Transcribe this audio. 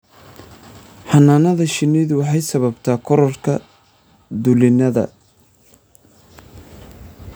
Xannaanada shinnidu waxay sababtaa kororka dulinnada.